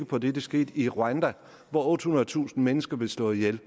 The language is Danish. på det der skete i rwanda hvor ottehundredetusind mennesker blev slået ihjel